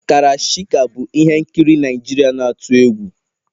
Karashika bụ ihe nkiri Naijiria na-atụ egwu